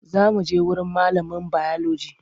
Za muje wurin malamin biology.